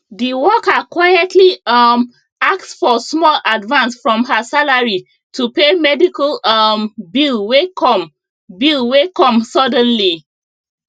the worker quietly um ask for small advance from her salary to pay medical um bill wey come bill wey come suddenly